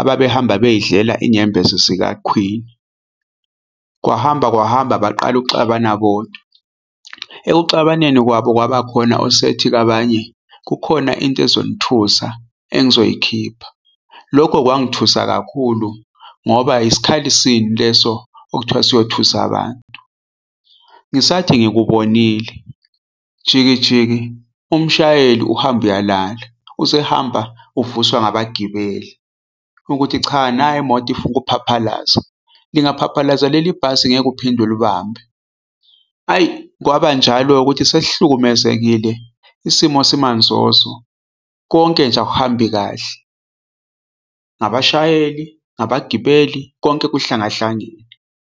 ababehamba beyidlela inyembezi zika-Queen. Kwahamba kwahamba baqala ukuxabana bodwa ekuxabaneni kwabo, kwaba khona osethi kwabanye, "kukhona into ezonithusa engizoyikhipha." Lokho kwangithusa kakhulu ngoba isikhali sini leso okuthiwa siyothusa abantu. Ngisathi ngikubonile jiki jiki umshayeli uhamba uyalala. Usehamba uvuswa ngabagibeli ukuthi cha nayi imoto ifuna ukuphaphalaza. Lingaphaphalaza leli bhasi ngeke uphinde ulibambe kwaba njalo ukuthi sesihlukumezekile isimo simanzozo, konke nje akuhambi kahle. Ngabashayeli, ngabagibeli konke kuhlangahlangene.